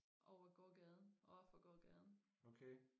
over gågaden overfor gågaden